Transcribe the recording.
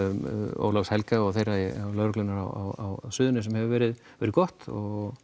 Ólafs Helga og þeirra hjá lögreglunni á Suðurnesjum hefur verið verið gott og